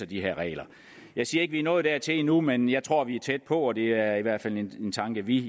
de her regler jeg siger ikke vi er nået dertil endnu men jeg tror vi er tæt på og det er i hvert fald en tanke vi